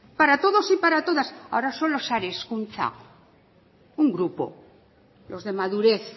para todos y para todas ahora solo sare hezkuntza un grupo los de madurez